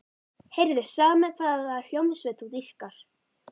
Heyrðu, segðu mér hvaða hljómsveit þú dýrkar.